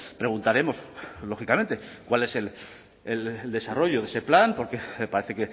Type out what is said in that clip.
preguntaremos lógicamente cuál es el desarrollo de ese plan porque parece